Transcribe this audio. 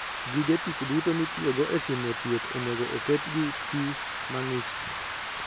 Gige tich duto mitiyogo e timo thieth onego oket gi pi mang'ich.